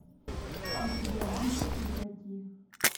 у тебя будет игроки